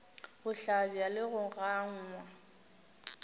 go hlabja le go gangwa